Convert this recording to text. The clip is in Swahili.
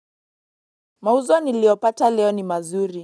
Mauzo niliopata leo ni mazuri.